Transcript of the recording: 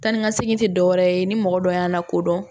Tan ni ka segin tɛ dɔwɛrɛ ye ni mɔgɔ dɔ y'a la kodɔn